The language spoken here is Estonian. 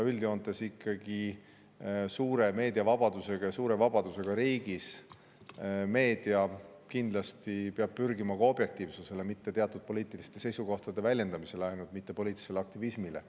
Üldjoontes peab suure meediavabadusega ja suure vabadusega riigis meedia kindlasti pürgima objektiivsusele, mitte ainult teatud poliitiliste seisukohtade väljendamisele, mitte poliitilisele aktivismile.